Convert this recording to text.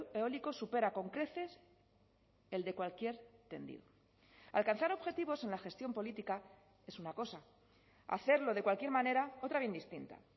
eólico supera con creces el de cualquier tendido alcanzar objetivos en la gestión política es una cosa hacerlo de cualquier manera otra bien distinta